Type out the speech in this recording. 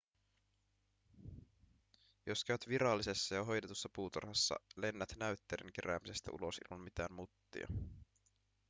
jos käyt virallisessa ja hoidetussa puutarhassa lennät näytteiden keräämisestä ulos ilman mitään muttia